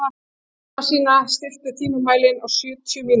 Jónasína, stilltu tímamælinn á sjötíu mínútur.